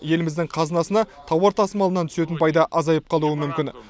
еліміздің қазынасына тауар тасымалынан түсетін пайда азайып қалуы мүмкін